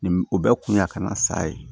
Ni o bɛɛ kun y'a ka na sa ye